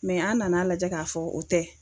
an nana lajɛ ka fɔ o tɛ.